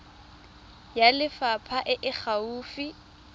ya lefapha e e gaufi